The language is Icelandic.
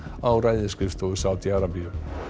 á ræðisskrifstofu Sádi Arabíu